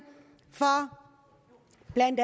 blandt